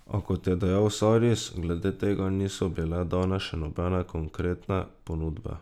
A, kot je dejal Saris, glede tega niso bile dane še nobene konkretne ponudbe.